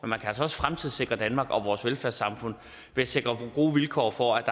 man kan altså også fremtidssikre danmark og vores velfærdssamfund ved at sikre gode vilkår for at